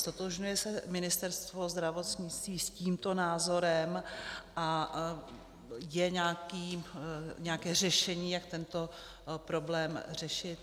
Ztotožňuje se Ministerstvo zdravotnictví s tímto názorem a je nějaké řešení, jak tento problém řešit?